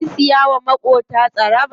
Kin siya wa maƙota tsaraba?